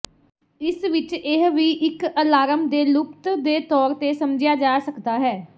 ਇਸ ਵਿਚ ਇਹ ਵੀ ਇੱਕ ਅਲਾਰਮ ਦੇ ਲੁਪਤ ਦੇ ਤੌਰ ਤੇ ਸਮਝਿਆ ਜਾ ਸਕਦਾ ਹੈ